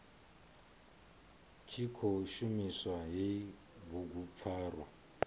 tshi khou shumisa hei bugupfarwa